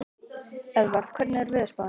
Eðvarð, hvernig er veðurspáin?